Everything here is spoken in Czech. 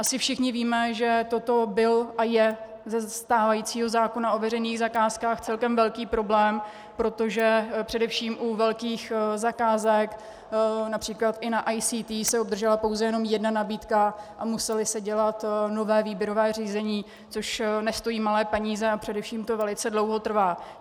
Asi všichni víme, že toto byl a je ze stávajícího zákona o veřejných zakázkách celkem velký problém, protože především u velkých zakázek, například i u ICT, se obdržela pouze jenom jedna nabídka a muselo se dělat nové výběrové řízení, což nestojí malé peníze a především to velice dlouho trvá.